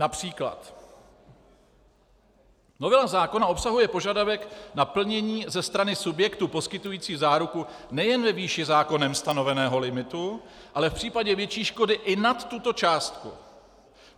Například: Novela zákona obsahuje požadavek na plnění ze strany subjektu poskytující záruku nejen ve výši zákonem stanoveného limitu, ale v případě větší škody i nad tuto částku.